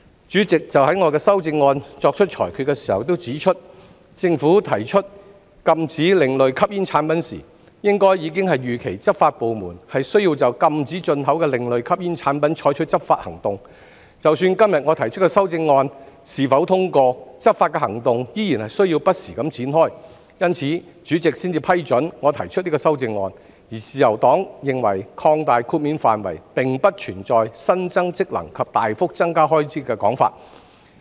主席就我的修正案作出裁決時亦指出，政府提出禁止另類吸煙產品時，應該已預期執法部門需要就禁止進口的另類吸煙產品採取執法行動，不論今天我提出的修正案是否通過，執法行動依然需要不時展開，因此，主席才批准我提出修正案，而自由黨認為擴大豁免範圍並不存在新增職能及大幅增加開支的説法。